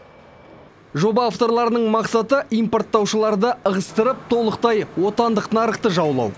жоба авторларының мақсаты импорттаушыларды ығыстырып толықтай отандық нарықты жаулау